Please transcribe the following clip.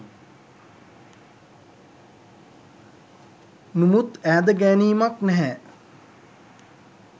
නුමුත් ඈද ගෑනීමක් නෑහෑ